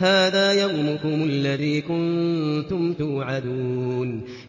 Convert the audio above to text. هَٰذَا يَوْمُكُمُ الَّذِي كُنتُمْ تُوعَدُونَ